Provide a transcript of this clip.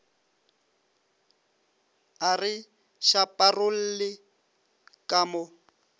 a re šaparolle ka mo